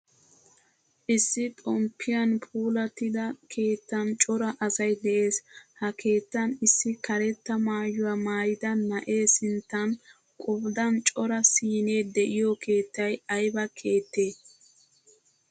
Issi xompiyan puulattida keettan cora asay de'ees. Ha keettan issi karetta maayuwaa maayida na'e sinttan qodan cora siine de'iyo keettay ayba keettee?